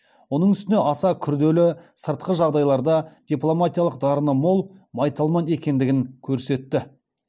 оның үстіне аса күрделі сыртқы жағдайларда дипломатиялық дарыны мол майталман екендігін көрсетті